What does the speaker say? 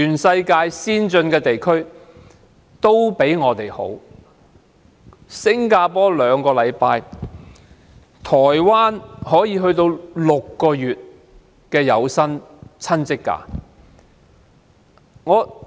新加坡設有兩周侍產假，台灣則有長達6個月的有薪親職假。